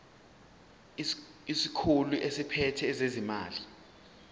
isikhulu esiphethe ezezimali